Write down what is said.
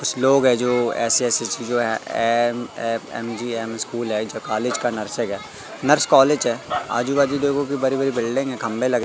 कुछ लोग है जो एस_एस_एच जो है एम_एफ_एम_जी_एम स्कूल है जो कॉलेज का नर्सेग है नर्स कॉलेज है आजू बाजू देखो की बरी बरी बिल्डिंग है खंभे लगे--